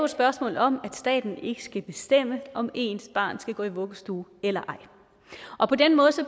spørgsmål om at staten ikke skal bestemme om ens barn skal gå i vuggestue eller ej og på den måde